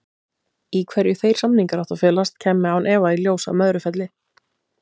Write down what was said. Í hverju þeir samningar áttu að felast kæmi án efa í ljós á Möðrufelli.